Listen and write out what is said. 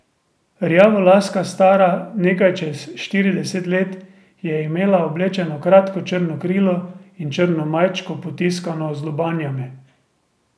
Rjavolaska, stara nekaj čez štirideset let, je imela oblečeno kratko črno krilo in črno majčko, potiskano z lobanjami.